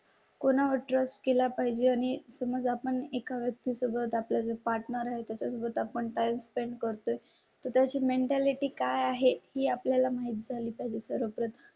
कोणा वर ट्रस्ट केला पाहिजे. आणि समजा पण एका व्यक्ती सोबत आपल्या पार्टनर आहे. त्याच्या सोबत आपण टाइम स्पेंड करतोय त्या ची मेन्टॅलिटी काय आहे हे आपल्या ला माहित झाली तर परत